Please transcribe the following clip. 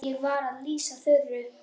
Ég var að lýsa Þuru.